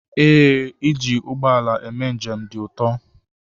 Ee, iji ụgbọ ala eme njem dị ụtọ.